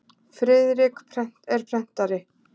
Friðrik er prentari.